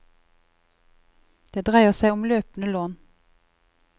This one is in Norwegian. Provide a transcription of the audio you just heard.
Det dreier seg om løpende lån.